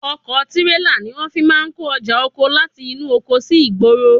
Ọkọ̀ tírélà ni wọ́n fi máa ń kó ọjà oko láti inú oko sí ìgboro.